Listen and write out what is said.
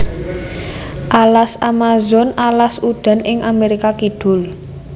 Alas Amazon alas udan ing Amerika Kidul